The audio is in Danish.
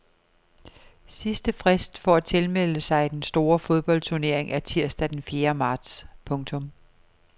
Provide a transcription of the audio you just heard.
Sidst frist for tilmelde sig den store fodboldturnering er tirsdag den fjerde marts. punktum